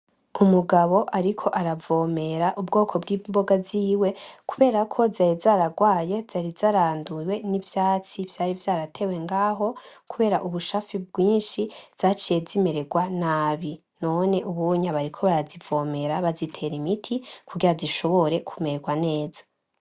Umugabo ariko aravomera ubwoko bw'imboga ziwe kubera ko zari zaragwaye, zari zaranduwe n'ivyatsi vyari vyaratewe ngaho kubera ubushafi bwinshi zaciye zimeregwa nabi. None ub'unye bariko barazivomera bazitera imiti kugira zishobore kumeregwa neza.